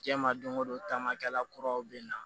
Diɲɛ ma don o don taama kɛla kuraw be na